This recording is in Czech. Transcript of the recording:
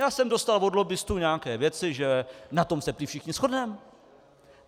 Já jsem dostal od lobbistů nějaké věci, že na tom se prý všichni shodneme.